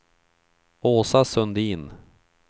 Åsa Sundin